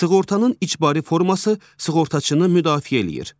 Sığortanın icbari forması sığortaçını müdafiə eləyir.